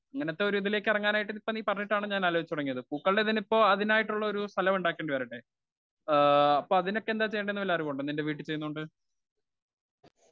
Speaker 1 ഇങ്ങനത്തെ ഒരു ഇതിലേക്ക് ഇറങ്ങാനായിട്ട് നീ ഇപ്പ പറഞ്ഞിട്ടാണ് ആലോചിച്ചു തുടങ്ങിയത്. പൂക്കളുടെ തന്നെ ഇപ്പൊ അതിനായിട്ട് തന്നെ ഉള്ളൊരുസ്ഥലം ഉണ്ടാക്കേണ്ടി വരില്ലേ. ആ അപ്പ അതിനൊക്കെ എന്താ ചെയ്യണ്ടേന്നുവല്ലറിവുമുണ്ടോ? നിന്റെ വീട്ടിൽ ചെയ്യുന്നൊണ്ട്.